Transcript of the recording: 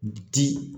Di